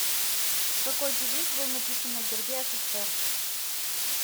какой девиз был написан на гербе ссср